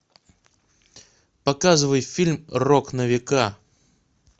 показывай фильм рок на века